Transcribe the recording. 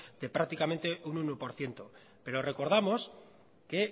de prácticamente un uno por ciento pero recordamos que